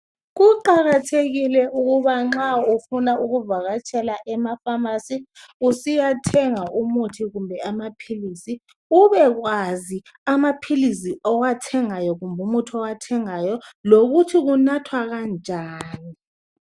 Kuqakathekile ukuba nxa ufuna ukuvakatshela ema famasi, usiyathenga ukuthi kumbe amapilisi ubekwazi, amapilisi owathengayo, lomuthi owathengayo lokuthi kunathwa kanjani.